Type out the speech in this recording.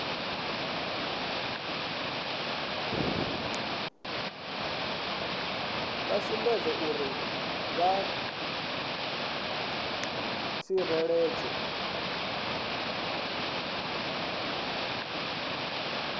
vha sumbedzwa uri vha ḓitsireledza